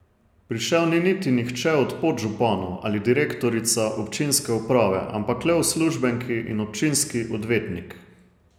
Prišel ni niti nihče od podžupanov ali direktorica občinske uprave, ampak le uslužbenki in občinski odvetnik.